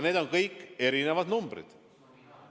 Need on kõik erinevad numbrid.